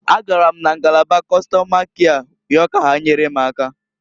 A gara m na ngalaba Kọstọma kịa yọọ ka ha nyere m aka.